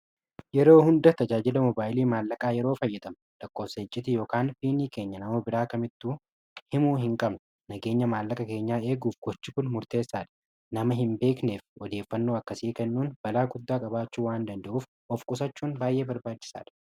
yeroo hunda tajaajila mobaayilii maallaqaa yeroo fayyadamnu lakkoofsa iciiti ykn piinii keenya nama biraa kamittu himuu hin qabnu. nageenya maallaqa keenyaa eeguuf gochi kun murteessaadha. nama hin beekneef odeeffannoo akkasii kennuun balaa guddaa qabaachu waan danda'uuf of qusachuun baay'ee barbaachisaadha